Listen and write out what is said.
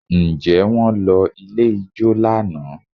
Ǹjẹ́ wọ́n lọ ilé ijó lánàá?